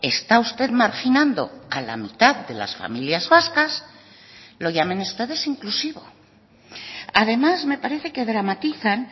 está usted marginando a la mitad de las familias vascas lo llamen ustedes inclusivo además me parece que dramatizan